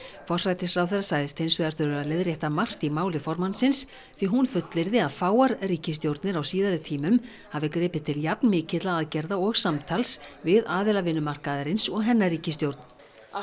forsætisráðherra sagðist hins vegar þurfa að leiðrétta margt í máli formannsins því hún fullyrði að fáar ríkisstjórnir á síðari tímum hafi gripið til jafnmikilla aðgerða og samtals við aðila vinnumarkaðarins og hennar ríkisstjórn að